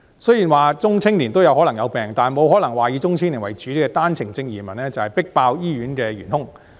雖然中青年人也可能生病，但沒可能說以中青年為主的單程證移民，就是迫爆醫院的元兇。